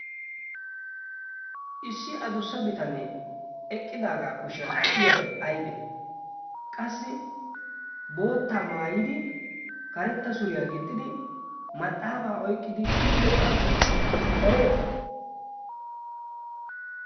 issi adussa bitanee eqqidaagaa kushiyan de'iyaabay aibee qassi bootta maayidi karetta suriyaa gixxidi maxaafaa oyqqidi kiyido gaasuwaa ereetii